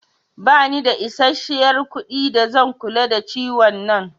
Ba ni da isashiyar kuɗi da zan kula da ciwon nan